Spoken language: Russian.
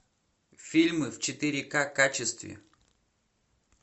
фильмы в четыре к качестве